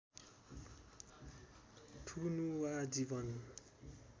थुनुवा जीवन